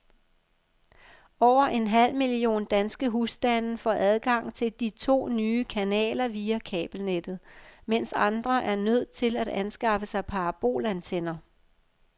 Over en halv million danske husstande får adgang til de to nye kanaler via kabelnettet, mens andre er nødt til at anskaffe sig parabolantenner.